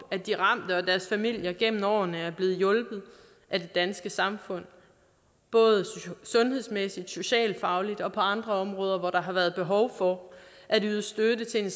at de ramte og deres familier gennem årene er blevet hjulpet af det danske samfund både sundhedsmæssigt socialt og fagligt og på andre områder hvor der har været behov for at yde støtte til at